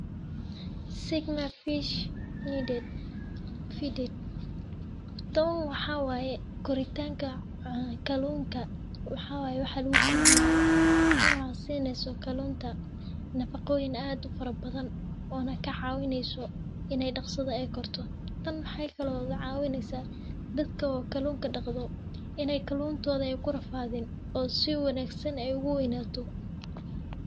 Sigma fish feeds tan waxaa waye koritanka kallunka, waxa waye tan lugukorinayo kallunka , tan oo sineyso kallunka nafaqoyin ad u fara badhan oo na kacawineyso in ay daqsiba ay korto. Tan maxay kale oo kacawineysah dadka oo kallunka daqdo in ay kallunkoda ay kurafadin ay si wanagsan uguweynato.